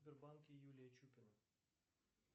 сбербанке юлия чупина